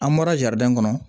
An bɔra jadan kɔnɔ